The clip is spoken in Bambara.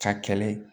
Ka kɛlɛ